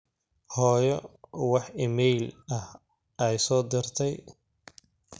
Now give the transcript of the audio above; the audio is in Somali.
hoyo wax iimayl ah ay soo dirtey